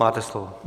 Máte slovo.